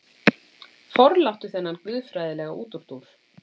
Forláttu þennan guðfræðilega útúrdúr.